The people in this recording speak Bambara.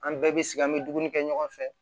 An bɛɛ bɛ sigi an bɛ dumuni kɛ ɲɔgɔn fɛ